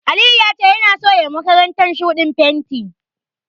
Aliyu ya ce yana so ya yiwa makarantar shuɗin fenti.